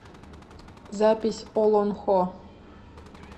запись олонхо